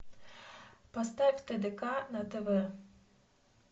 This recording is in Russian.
поставь тдк на тв